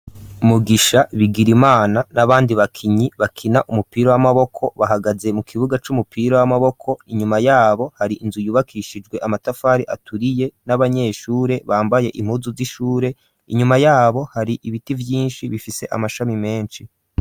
Mugisha, Bigirimana n'abandi bakinyi bakina umupira w'amaboko, bahagaze mu kibuga c'umupira w'amaboko, inyuma yabo hari inzu yubakishijwe amatafari aturiye, n'abanyeshure bambaye impuzu z'ishure, inyuma yabo hari ibiti vyinshi bifise amashami menshi.